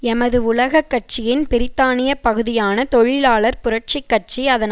எமது உலக கட்சியின் பிரித்தானிய பகுதியான தொழிலாளர் புரட்சி கட்சி அதன்